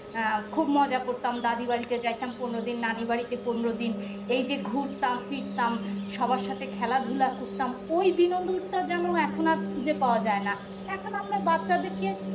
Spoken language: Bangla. আহ খুব মজা করতাম দাদী বাড়িতে যাইতাম পনেরো দিন নানি বাড়িতে পনেরো দিন এই যে ঘুরতাম ফিরতাম সবার সাথে খেলাধুলা করতাম ওই বিনোদনটা যেন এখন আর খুঁজে পাওয়া যায় না এখন আমরা বাচ্চাদেরকে